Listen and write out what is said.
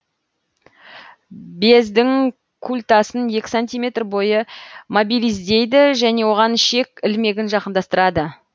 бездің культасын екі сантиметр бойы мобилиздейді және оған ішек ілмегін жақындастырады